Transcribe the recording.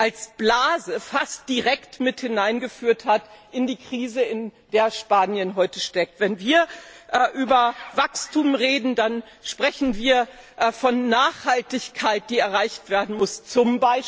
als Blase fast direkt mit in die Krise hineingeführt hat, in der Spanien heute steckt. Wenn wir über Wachstum reden, dann sprechen wir von Nachhaltigkeit, die erreicht werden muss, z.